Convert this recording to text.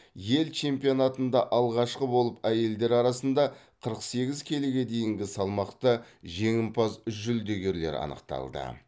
ел чемпионатында алғашқы болып әйелдер арасында қырық сегіз келіге дейінгі салмақта жеңімпаз жүлдегерлер анықталды